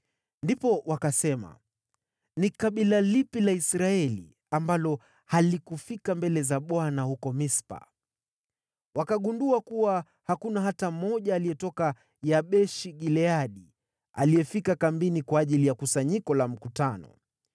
Ndipo wakasema, “Ni kabila lipi la Israeli ambalo halikufika mbele za Bwana huko Mispa?” Wakagundua kuwa hakuna hata mmoja aliyetoka Yabeshi-Gileadi aliyefika kambini kwa ajili ya kusanyiko la mkutano.